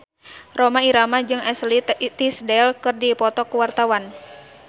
Rhoma Irama jeung Ashley Tisdale keur dipoto ku wartawan